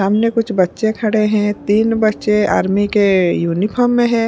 सामने कुछ बच्चे खड़े हैं तीन बच्चे आर्मी के यूनिफॉर्म में है।